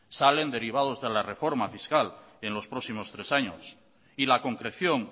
salen derivados de la reforma fiscal en los próximos tres años y la concreción